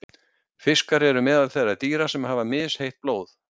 Fiskar eru meðal þeirra dýra sem hafa misheitt blóð.